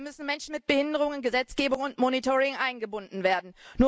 Dabei müssen Menschen mit Behinderungen in Gesetzgebung und Monitoring eingebunden werden.